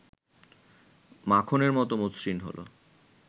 মাখনের মত মসৃণ হলো